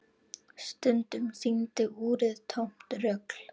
Stundum sýndi úrið tómt rugl.